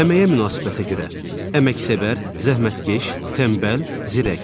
Əməyə münasibətə görə: əməksevər, zəhmətkeş, tənbəl, zirək.